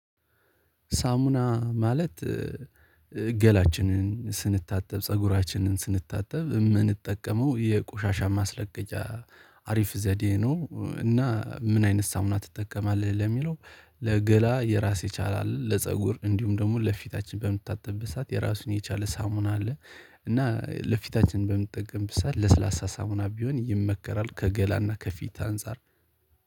ሳሙና ማለት ገላችንን ስንታጠብ ፀጉራችንን ስንታጠብ የምንጠቀመው የቆሻሻ ማስለቀቂያ አሪፍ ዘዴ ነው። እና ምን አይነት ሳሙና ትጠቀማለህ ለሚለው? ለገላ የራስ የቻለ አለ ለፀጉር እንዲሁም ደግሞ ለፊታችን በምንታጠብበት ሰዓት የራሱን የቻለ ሳሙና አለ። እና ለፊታችን በምንጠቀምበት ሰዓት ለስላሳ ሳሙና ቢሆን ይመከራል። ከገላና ከፊት አንፃር